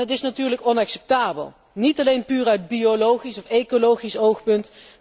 Dat is natuurlijk inacceptabel, niet alleen puur uit biologisch of ecologisch oogpunt.